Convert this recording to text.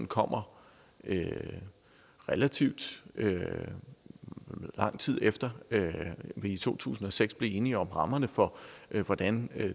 kommer relativt lang tid efter vi i to tusind og seks blev enige om rammerne for hvordan